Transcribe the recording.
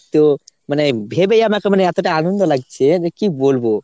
তো মানে ভেবেই আমার কেমন এতটা আনন্দ লাগছে যে কী বলবো ?